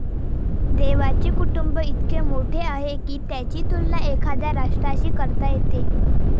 देवाचे कुटुंब इतके मोठे आहे की त्याची तुलना एखाद्या राष्ट्राशी करता येते.